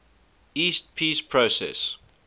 east peace process